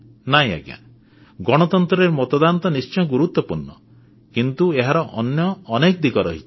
ନାହିଁ ଆଜ୍ଞା ଗଣତନ୍ତ୍ରରେ ମତଦାନ ତ ନିଶ୍ଚୟ ଗୁରୁତ୍ୱପୂର୍ଣ୍ଣ କିନ୍ତୁ ଏହାର ଅନ୍ୟ ଅନେକ ଦିଗ ରହିଛି